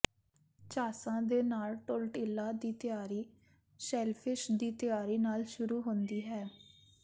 ਝਾਂਸਾ ਦੇ ਨਾਲ ਟੌਰਟਿਲਾ ਦੀ ਤਿਆਰੀ ਸ਼ੈਲਫਿਸ਼ ਦੀ ਤਿਆਰੀ ਨਾਲ ਸ਼ੁਰੂ ਹੁੰਦੀ ਹੈ